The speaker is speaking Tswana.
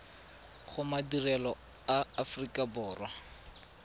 go madirelo a aforika borwa